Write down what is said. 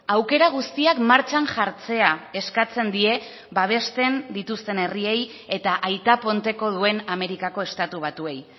aukera guztiak martxan jartzea eskatzen die babesten dituzten herriei eta aita ponteko duen amerikako estatu batuei